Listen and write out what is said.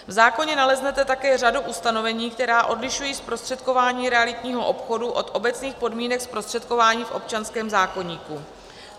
V zákoně naleznete také řadu ustanovení, která odlišují zprostředkování realitního obchodu od obecných podmínek zprostředkování v občanském zákoníku.